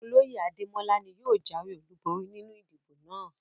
Oloye Ademola ni yóò jawe olubori ninu idibo naa